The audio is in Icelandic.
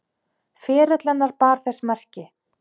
Ferill hennar ber þess merki.